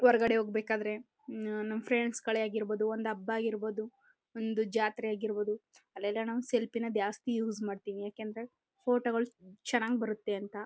ಹೊರಗಡೆ ಹೋಗಬೇಕಾದರೆ ನಮ್ ಫ್ರೆಂಡ್ಸೆ ಗಳೇ ಆಗಿರಬಹುದು ಒಂದು ಹಬ್ಬ ಆಗಿರಬಹುದು ಒಂದು ಜಾತ್ರೆ ಆಗಿರಬಹುದು ಅಲ್ಲೆಲ್ಲ ಸೆಲ್ಫಿನೇ ಜಾಸ್ತಿ ಯೂಸ್ ಮಾಡ್ತೀವಿ ಯಾಕೆಂದರೆ ಫೋಟೋಗಳು ಚೆನ್ನಾಗಿ ಬರುತ್ತೆ ಅಂತ.